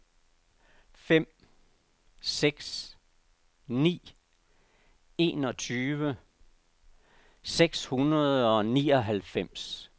fem fem seks ni enogtyve seks hundrede og nioghalvfems